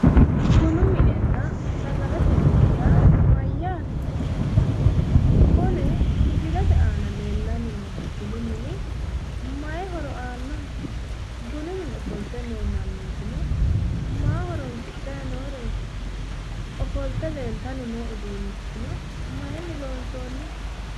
Bunu minenna sagalete mine yaa mayyaate? Kuni misilete aana leellanni noohu bunu mini mayi horo aannoho? Bunu mine ofolte noo mannootino maa horoonsidhayi nooreeti? Ofolte leeltanni noo uduunnichino mayiinni loonsoonniho?